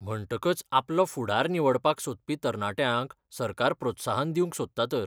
म्हणटकच आपलो फुडार निवडपाक सोदपी तरणाट्यांक सरकार प्रोत्साहन दिवंक सोदता तर.